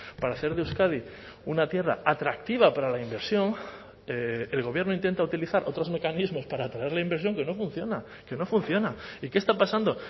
para hacer de euskadi una tierra atractiva para la inversión el gobierno intenta utilizar otros mecanismos para atraer la inversión que no funciona que no funciona y qué está pasando